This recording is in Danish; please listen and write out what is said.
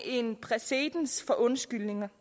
en præcedens for undskyldninger